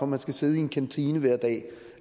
man skal sidde i en kantine hver dag